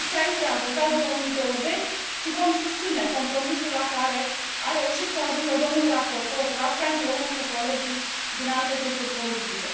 Comisia ITRE a votat 2020 și vom susține compromisul la care a reușit să ajungă domnul raportor Rapkay împreună cu colegii din alte grupuri politice.